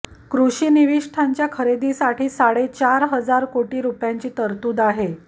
कृषी निविष्ठांच्या खरेदीसाठी साडेचार हजार कोटी रुपयांची तरतूद आहे